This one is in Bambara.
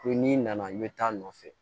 Ko n'i nana i bɛ taa nɔfɛ